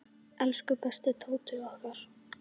Elsku besti Tóti okkar.